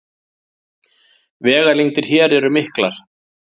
Vegalengdir hér eru miklar